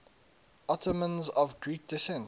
ottomans of greek descent